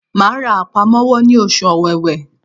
Màá ra àpamọ́wọ́ ní oṣù Òwewé